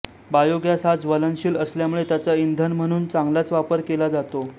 biogas हा ज्वलनशील असल्याने त्याचा इंधन म्हणून चांगलाच वापर करता येतो